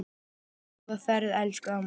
Góða ferð elsku amma.